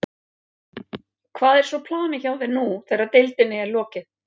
Hvað er svo planið hjá þér nú þegar deildinni er lokið?